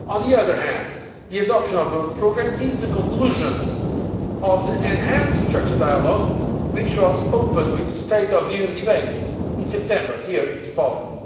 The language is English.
On the other hand, the adoption of the programme is the conclusion of the enhanced structured dialogue, which was opened with the State of the Union debate in September here in this Parliament.